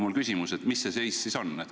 Mis see seis siis on?